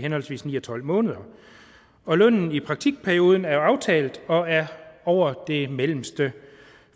henholdsvis ni og tolv måneder og lønnen i praktikperioden er aftalt og er over det mellemste